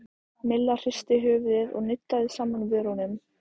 Milla hristi höfuðið og nuddaði saman vörunum.